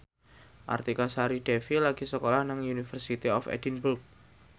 Artika Sari Devi lagi sekolah nang University of Edinburgh